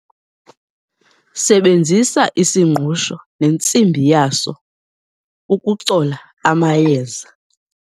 sebenzisa isingqusho nentsimbi yaso ukucola amayeza